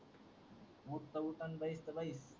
बूट कौसान बैस तर बैस